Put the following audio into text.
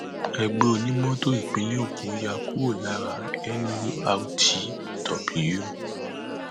ẹgbẹ onímọtò ìpínlẹ èkó yà kúrò lára cs] nurtw